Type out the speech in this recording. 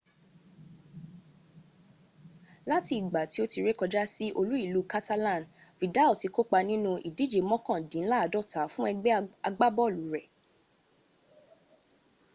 lati igba ti o ti re koja si olu-ilu catalan vidal ti ko pa ninu idije mokandinlaadota fun egbe agbabolu re